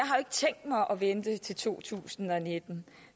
vente til to tusind og nitten